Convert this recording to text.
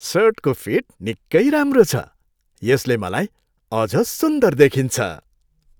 सर्टको फिट निकै राम्रो छ। यसले मलाई अझ सुन्दर देखिन्छ।